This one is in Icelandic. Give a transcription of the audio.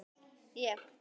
Ég: Takk.